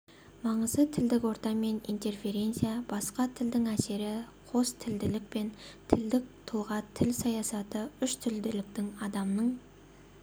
маңызы тілдік орта мен интерференция басқа тілдің әсері қостілділік пен тілдік тұлға тіл саясаты үштілділіктің адамның